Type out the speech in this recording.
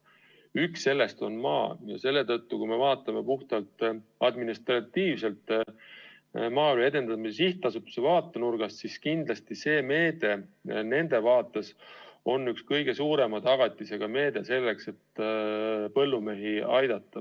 Üks nendest on maa ja seetõttu, kui me vaatame puhtalt administratiivselt Maaelu Edendamise Sihtasutuse vaatenurgast, on kindlasti see meede nende vaates üks kõige suurema tagatisega meede, mille kaudu põllumehi aidata.